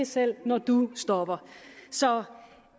selv når du stopper så